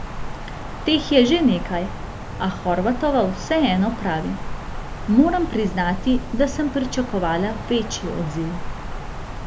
Teh je že nekaj, a Horvatova vseeno pravi: "Moram priznati, da sem pričakovala večji odziv.